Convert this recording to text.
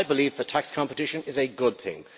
I believe that tax competition is a good thing.